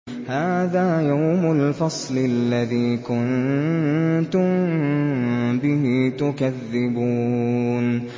هَٰذَا يَوْمُ الْفَصْلِ الَّذِي كُنتُم بِهِ تُكَذِّبُونَ